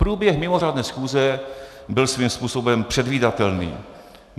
Průběh mimořádné schůze byl svým způsobem předvídatelný.